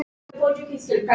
Hún lítur á úrið.